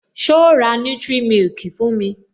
So ra nutric milk fún mi?